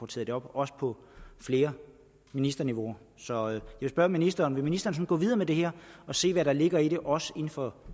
taget op også på flere ministerniveauer så jeg vil spørge ministeren vil ministeren gå videre med det her og se hvad der ligger i det også inden for